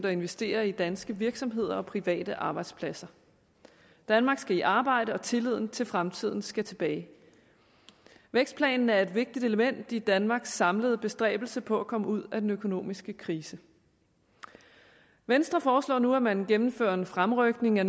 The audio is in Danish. at investere i danske virksomheder og private arbejdspladser danmark skal i arbejde og tilliden til fremtiden skal tilbage vækstplanen er et vigtigt element i danmarks samlede bestræbelser på at komme ud af den økonomiske krise venstre foreslår nu at man gennemfører en fremrykning af